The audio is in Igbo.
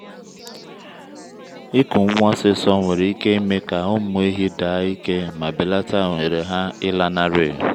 ịkụ nwa osisor nwere ike ime ka ụmụ ehi daa ike ma belata ohere ha ịlanarị.